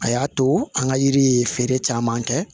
A y'a to an ka yiri ye feere caman kɛ